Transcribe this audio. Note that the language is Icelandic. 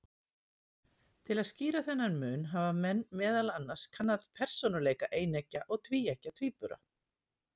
Til að skýra þennan mun hafa menn meðal annars kannað persónuleika eineggja og tvíeggja tvíbura.